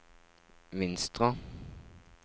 Vinstra